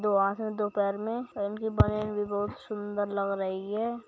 दो हाथ में दो पैर में पैंट की बनियाइन भी बहुत सुंदर लग रही है।